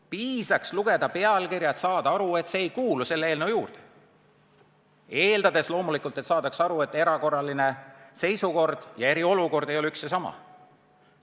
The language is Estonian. Piisab pealkirja lugemisest, et saada aru, et see ei kuulu selle eelnõu juurde, eeldades loomulikult, et saadakse aru, et erakorraline seisukord ja eriolukord ei ole üks ja sama.